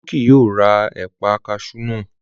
Olú kì yóò ra ẹ̀paa kaṣú náà